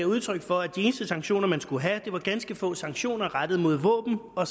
udtryk for at de eneste sanktioner man skulle have var ganske få sanktioner rettet mod våben og